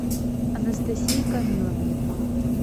анастасии камиловне